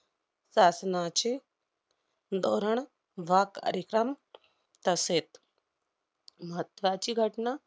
शासनाचे धोरण वाक~ अधिक्रम तसेच महत्त्वाची घटना